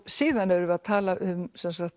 síðan erum við að tala um